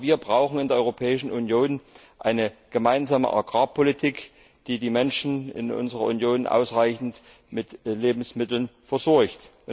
Auch wir brauchen in der Europäischen Union eine gemeinsame Agrarpolitik, die die Menschen in unserer Union ausreichend mit Lebensmitteln versorgt.